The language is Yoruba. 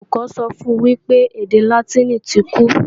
Olùkọ́ sọ fun wípé èdè Látìnì ti kú